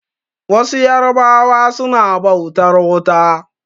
Wasu yarbawa suna bautar wuta.